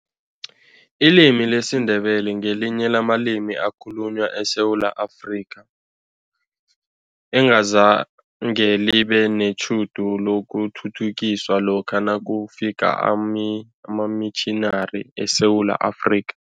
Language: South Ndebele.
Ilimi lesiNdebele ngelinye lamalimi ekhalunywa eSewula Afrika, engazange libe netjhudu lokuthuthukiswa lokha nakufika amamitjhinari eSewula Afrika.